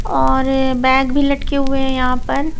और बैग भी लटके हुए हैं यहां पर--